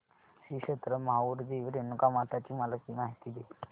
श्री क्षेत्र माहूर देवी रेणुकामाता ची मला माहिती दे